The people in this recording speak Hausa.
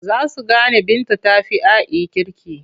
Za su gane Binta ta fi A'i kirki.